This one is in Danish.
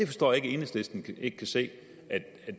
forstår ikke at enhedslisten ikke kan se at